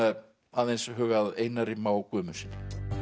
aðeins huga að Einari Má Guðmundssyni